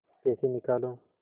पैसे निकालो